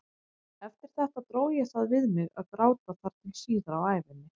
Eftir þetta dró ég það við mig að gráta þar til síðar á ævinni.